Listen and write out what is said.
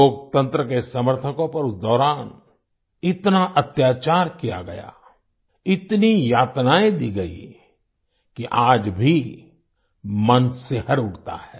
लोकतंत्र के समर्थकों पर उस दौरान इतना अत्याचार किया गया इतनी यातनाएं दी गईं कि आज भी मन सिहर उठता है